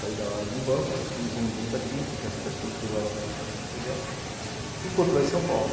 Sair da área de banco, ir para uma indústria química, que as perspectivas eram melhores, e continuar em São Paulo.